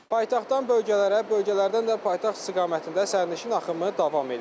Paytaxtdan bölgələrə, bölgələrdən də paytaxt istiqamətində sərnişin axımı davam eləyir.